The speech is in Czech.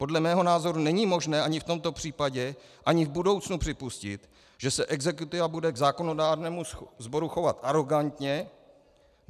Podle mého názoru není možné ani v tomto případě, ani v budoucnu připustit, že se exekutiva bude k zákonodárnému sboru chovat arogantně.